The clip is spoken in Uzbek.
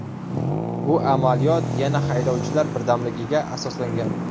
Bu amaliyot, yana haydovchilar birdamligiga asoslangan.